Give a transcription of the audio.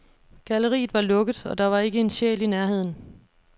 Galleriet var lukket, og der var ikke en sjæl i nærheden.